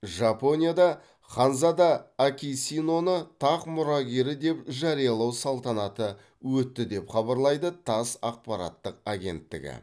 жапонияда ханзада акисиноны тақ мұрагері деп жариялау салтанаты өтті деп хабарлайды тасс ақпараттық агенттігі